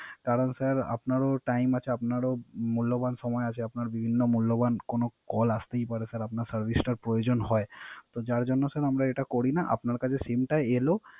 তার আগে স্যার আপনার Time আছে আপনারও মূল্য সময় আপনার বিভিন্ন মূল্যবান কোন Call আসতেই পারে। স্যার আপনার Service প্রয়োজন হয়। তো যার জন্য আমরা এটা করিনা। আপনার কাছে Sim টা এলো